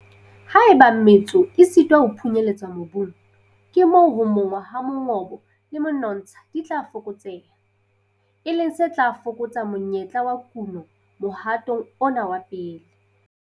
Haeba metso e sitwa ho phunyeletsa mobung, ke moo ho monngwa ha mongobo le menontsha di tla fokotseha, e leng se tla fokotsa monyetla wa kuno mohatong ona wa pele.